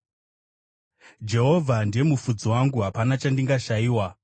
Jehovha ndiye mufudzi wangu, hapana chandingashayiwa.